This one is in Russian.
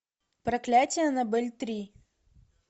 проклятие аннабель три